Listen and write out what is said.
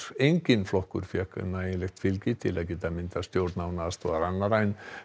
enginn flokkur fékk nægjanlegt fylgi til að geta myndað stjórn án aðstoðar annarra en